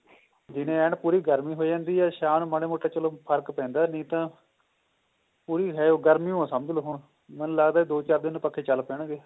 ਦਿਨੇ ਐਨ ਪੂਰੀ ਗਰਮੀ ਹੋ ਜਾਂਦੀ ਹੈ ਸ਼ਾਮ ਨੂੰ ਮਾੜਾ ਮੋਟਾ ਚਲੋ ਫਰਕ ਪੈਂਦਾ ਨਹੀਂ ਤਾਂ ਪੂਰੀ ਹੈ ਓ ਗਰਮੀ ਓ ਹੈ ਸਮਝ ਲੋ ਹੁਣ ਮੈਨੂੰ ਲੱਗਦਾ ਦੋ ਚਾਰ ਦਿਨ ਨੂੰ ਪੱਖੇ ਚੱਲ ਪੈਣਗੇ